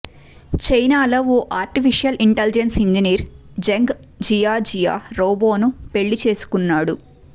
చైనాలో ఓ artificial intelligence engineer Zheng Jiajia రోబోను పెళ్లి చేసుకున్నాడు